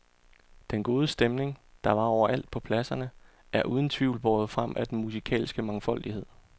Den gode stemning, der var over alt på pladserne, er uden tvivl båret frem af den musikalske mangfoldighed.